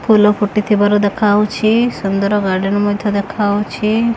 ଫୁଲ ଫୁଟୁଥିବାର ଦେଖାଯାଉଛି ସୁନ୍ଦର ଗାର୍ଡେନ ମଧ୍ୟ ଦେଖାଯାଉଛି।